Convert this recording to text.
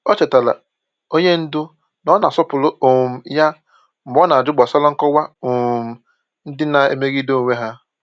Ọ chetaara onye ndu na ọ na-asọpụrụ um ya mgbe ọ na-ajụ gbasara nkọwa um ndị na-emegide onwe ha.